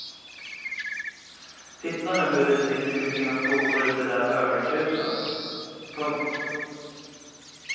Titta nu hur de dricker med sina skopor ur de där höga krusen. punkt